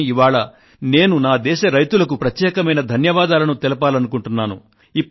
కానీ ఇవాళ నేను నా దేశ రైతులకు ప్రత్యేకమైన ధన్యవాదాలను తెలపాలనుకుంటున్నాను